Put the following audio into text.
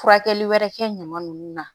Furakɛli wɛrɛ kɛ ɲama nunnu na